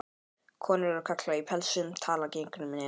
Konur og karlar í pelsum tala gegnum nefið.